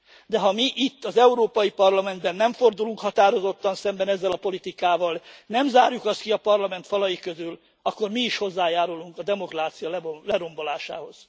De ha mi itt az Európai Parlamentben nem fordulunk határozottan szembe ezzel a politikával, nem zárjuk azt ki a Parlament falai közül, akkor mi is hozzájárulunk a demokrácia lerombolásához.